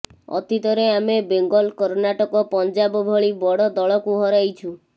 ଅତୀତରେ ଆମେ ବେଙ୍ଗଲ କର୍ଣ୍ଣାଟକ ପଞ୍ଜାବ ଭଳି ବଡ଼ ଦଳକୁ ହରାଇଛୁ